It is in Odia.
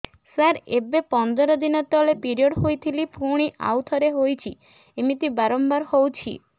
ସାର ଏବେ ପନ୍ଦର ଦିନ ତଳେ ପିରିଅଡ଼ ହୋଇଥିଲା ପୁଣି ଆଉଥରେ ହୋଇଛି ଏମିତି ବାରମ୍ବାର ହଉଛି